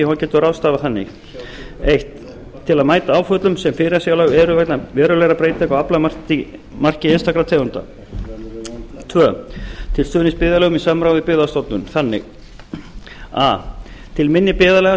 og hann getur ráðstafað þannig fyrsti til að mæta áföllum sem fyrirsjáanleg eru vegna verulegra breytinga á aflamarki einstakra tegunda annars til stuðnings byggðarlögum í samráði við byggðastofnun þannig a til minni byggðarlaga